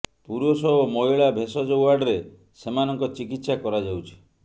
ପୁରୁଷ ଓ ମହିଳା ଭେଷଜ ୱାର୍ଡରେ ସେମାନଙ୍କ ଚିକିତ୍ସା କରାଯାଉଛି